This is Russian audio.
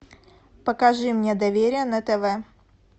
покажи мне доверие на тв